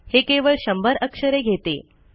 हे केवळ 100 अक्षरे घेते